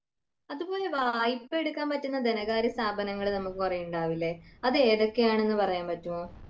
അതുപ്പോലെ വായ്പ്പ എടുക്കാൻ പറ്റുന്ന ധനകാര്യ സ്ഥാപനങ്ങള് നമുക്ക് കൊറേ ഉണ്ടാവില്ലേ അത് ഏതൊക്കെയാണെന്ന് പറയാൻ പറ്റുമൊ